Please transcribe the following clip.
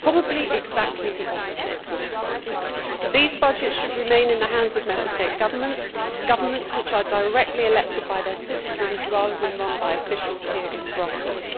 Probably exactly the opposite would happen. These budgets should remain in the hands of Member State governments governments which are directly elected by their citizens rather than run by officials here in Brussels.